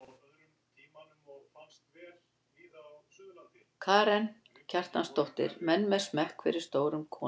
Karen Kjartansdóttir: Menn með smekk fyrir stórum konum?